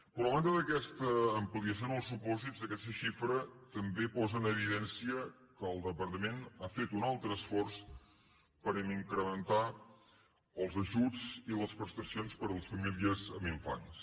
però a banda d’aquesta ampliació en els supòsits aquest xifra també posa en evidència que el departament ha fet un altre esforç per incrementar els ajuts i les prestacions per a les famílies amb infants